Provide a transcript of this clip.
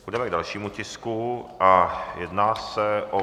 Půjdeme k dalšímu tisku a jedná se o